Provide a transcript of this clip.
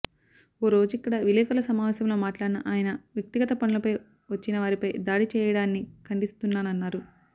ఈ రోజిక్కడ విలేకరుల సమావేశంలో మాట్లాడిన ఆయన వ్యక్తిగత పనులపై వచ్చిన వారిపై దాడి చేయడాన్ని ఖండిస్తున్నానన్నారు